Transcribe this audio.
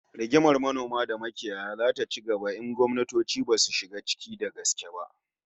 Rigimar manoma da makiyaya zata ci gaba in gwamnatoci basu shiga ciki da gaske ba